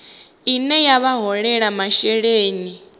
ine ya vha holela masheleni